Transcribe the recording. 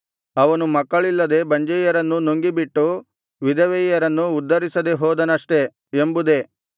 ಅವನು ಮಕ್ಕಳಿಲ್ಲದ ಬಂಜೆಯರನ್ನು ನುಂಗಿಬಿಟ್ಟು ವಿಧವೆಯರನ್ನು ಉದ್ಧರಿಸದೆ ಹೋದನಷ್ಟೆ ಎಂಬುದೇ